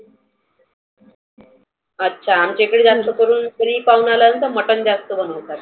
अच्छा. आमच्या इकडे जास्त करुण घरी पाहुणा आलाना तर मटन जास्त बनवतात.